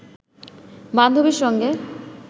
বান্ধবীর সঙ্গে